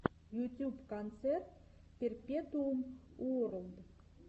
ютюб концерт перпетуум уорлд